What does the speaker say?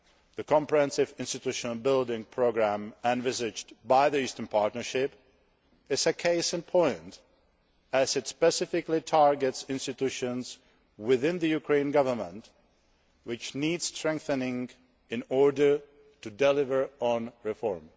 The comprehensive institution building programme envisaged by the Eastern Partnership is a case in point, as it specifically targets institutions within the Ukrainian Government which need strengthening in order to deliver on reform.